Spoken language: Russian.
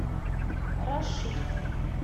рашит